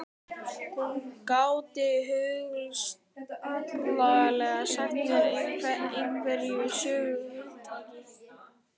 Hún gæti hugsanlega sagt mér einhverjar sögur af huldufólki.